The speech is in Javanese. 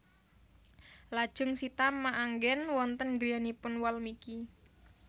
Lajeng Sita maanggen wonten griyanipun Walmiki